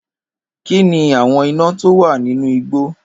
Kín ni àwọn iná tówà nínú igbó.